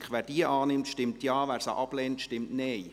Wer diese annimmt, stimmt Ja, wer sie ablehnt, stimmt Nein.